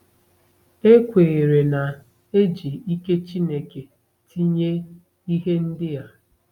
E kweere na e ji ike Chineke tinye ihe ndị a.